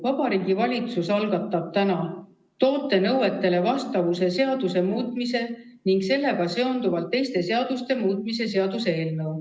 Vabariigi Valitsus algatab täna toote nõuetele vastavuse seaduse muutmise ning sellega seonduvalt teiste seaduste muutmise seaduse eelnõu.